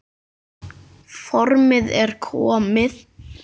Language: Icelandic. Formið er komið!